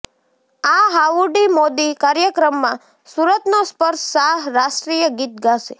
આ હાઉડી મોદી કાર્યક્રમમાં સુરતનો સ્પર્શ શાહ રાષ્ટ્રીય ગીત ગાશે